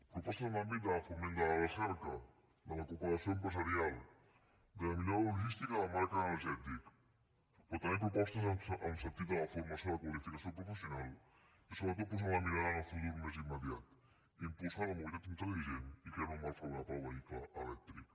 propostes en l’àmbit del foment de la recerca de la cooperació empresarial de la millora logística en el marc energètic però també propostes en el sentit de la formació i la qualificació professional i sobretot posant la mirada en el futur més immediat imposar la mobilitat intel·ligent i crear un marc favorable per al vehicle elèctric